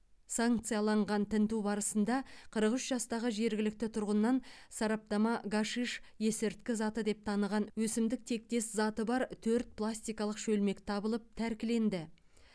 санкцияланған тінту барысында қырық үш жастағы жергілікті тұрғыннан сараптама гашиш есірткі заты деп таныған өсімдік тектес заты бар төрт пластикалық шөлмек табылып тәркіленді